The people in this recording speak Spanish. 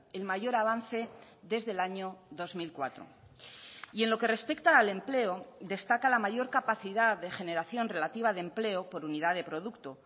el mayor avance desde el año dos mil cuatro y en lo que respecta al empleo destaca la mayor capacidad de generación relativa de empleo por unidad de producto